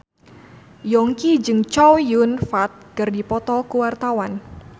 Yongki jeung Chow Yun Fat keur dipoto ku wartawan